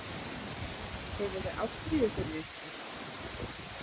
Hefurðu ástríðu fyrir einhverju?